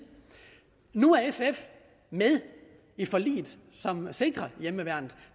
nu er sf med i forliget som sikrer hjemmeværnet